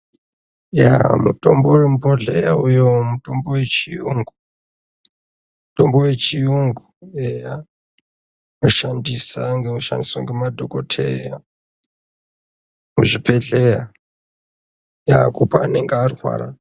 Yaa mitombo yemubhodhleya uho mutombo wechiyungu mutombo wechiyungu eya unoshandisa ngekushandiswe ngemadhokoteya muzvibhedhleya yaa kupe anenge arwara.